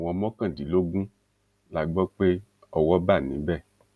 àwọn mọkàndínlógún la gbọ pé owó bá níbẹ